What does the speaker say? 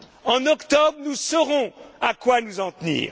En octobre, nous saurons à quoi nous en tenir.